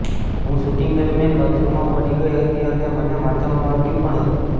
હું શૂટિંગ દરમિયાન બાથરૂમમાં પડી ગઈ હતી અને મને માથામાં વાગ્યું પણ હતું